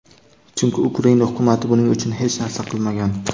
chunki Ukraina Hukumati buning uchun hech narsa qilmagan.